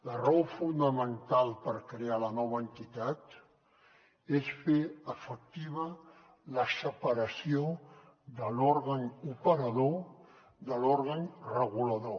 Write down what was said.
la raó fonamental per crear la nova entitat és fer efectiva la separació de l’òrgan operador de l’òrgan regulador